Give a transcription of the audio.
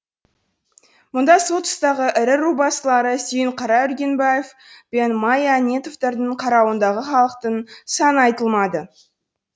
мұнда сол тұстағы ірі рубасылары сүйінқара үргенбаев пен мая әнетовтердің қарауындағы халықтың саны айтылмайды